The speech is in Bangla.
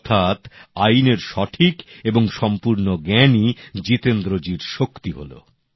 অর্থাৎ আইনের সঠিক এবং সম্পূর্ণ জ্ঞানই জিতেন্দ্র জির শক্তি হল